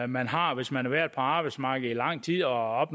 man har hvis man har været på arbejdsmarkedet i lang tid og